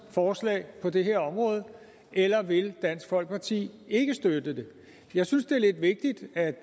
forslag på det her område eller vil dansk folkeparti ikke støtte det jeg synes det er lidt vigtigt at